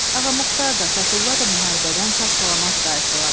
Ağa Muxtar da, Fətullah da müharibədən sağ-salamat qayıtdılar.